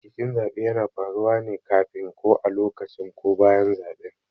Rikicin zaɓe yana faruwa ne kafin, ko a lokacin ko bayan zaben.